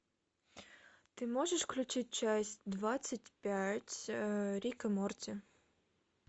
ты можешь включить часть двадцать пять рик и морти